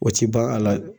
O ti ban a la